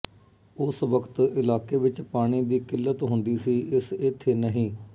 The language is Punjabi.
ਉਸ ਵਕਤ ਇਲਾਕੇ ਵਿੱਚ ਪਾਣੀ ਦੀ ਕਿੱਲਤ ਹੁੰਦੀ ਸੀ ਇਸ ਇੱਥੇ ਨਹੀਂ